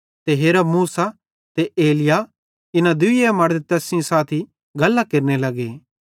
ते हेरा मूसा ते एलिय्याह इन्ना दूई मड़द तैस सेइं गल्लां केरने लग्गे